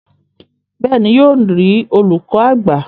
bẹ́ẹ̀ni, yóò rí olùkọ àgbà.